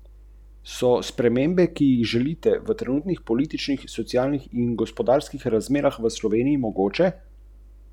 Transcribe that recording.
To pa res ne gre!